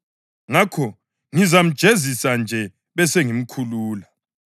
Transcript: Ngakho ngizamjezisa nje besengimkhulula.” [